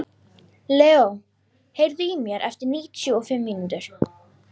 Leo, heyrðu í mér eftir níutíu og fimm mínútur.